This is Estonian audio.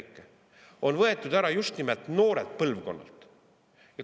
See on võetud ära just nimelt noorelt põlvkonnalt.